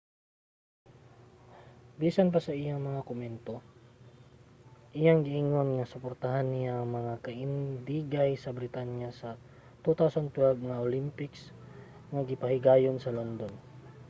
bisan pa sa iyang mga komento iyang giingon nga suportahan niya ang mga kaindigay sa britanya sa 2012 nga olympics nga gipahigayon sa london